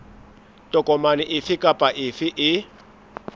tokomane efe kapa efe e